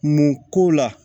Mun ko la